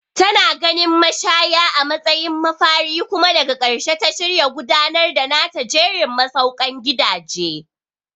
Tana ganin mashaya a matsayin mafari kuma daga ƙarshe ta shirya gudanar da nata jerin masaukan gidaje.